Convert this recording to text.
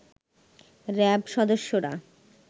RAB সদস্যরা